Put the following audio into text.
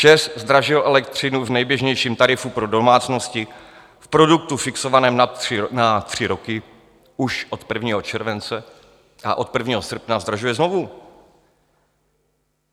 ČEZ zdražil elektřinu v nejběžnějším tarifu pro domácnosti v produktu fixovaném na tři roky už od 1. července a od 1. srpna zdražuje znovu!